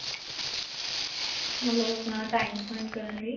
ਮਤਲਬ ਆਪਣਾ time spend ਕਰਨ ਲਈ.